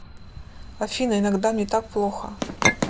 афина иногда мне так плохо